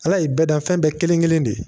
Ala ye bɛɛ dan fɛn bɛɛ kelen-kelen de ye